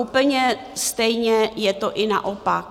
Úplně stejně je to i naopak.